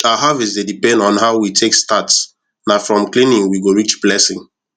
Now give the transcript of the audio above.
our harvest dey depend on how we take start na from cleaning we go reach blessing